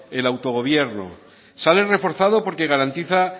el autogobierno sale reforzado porque garantiza